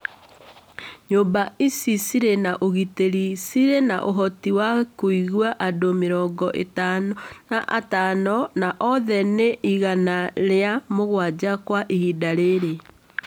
Nyũmba icio cirĩ na ũgitĩri cirĩ na ũhoti wa kũiga andũ mĩrongo ĩtano na atano na othe nĩ igana rĩa mũgwanja kwa ihinda rĩrĩ